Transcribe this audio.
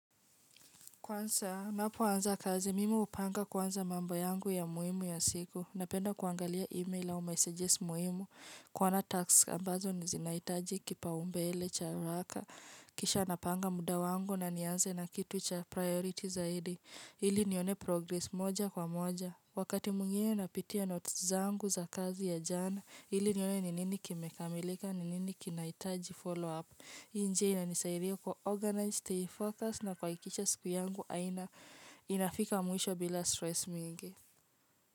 Kwansa, napoanza kazi. Mimi hupanga kwanza mambo yangu ya muhimu ya siku. Napenda kuangalia email ao messages muhimu. Kuona tax ambazo zinaitaji kipaumbele cha araka. Kisha napanga muda wangu na nianze na kitu cha priority zaidi. Ili nione progress moja kwa moja. Wakati mwingine napitia notes zangu za kazi ya jana. Ili nione ni nini kimekamilika ni nini kinaitaji follow up. Hii njia inanisaidia kuwa organised, stay focused na kuakikisha siku yangu inafika mwisho bila stress mingi.